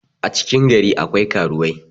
a cikin gari akwai karuwai